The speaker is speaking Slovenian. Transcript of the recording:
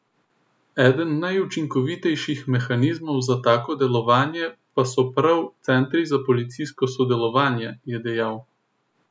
Eden najučinkovitejših mehanizmov za tako delovanje pa so prav centri za policijsko sodelovanje, je dejal.